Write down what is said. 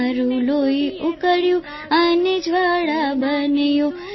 તારૂં લોહી ઉકળ્યું અને જ્વાળા બન્યો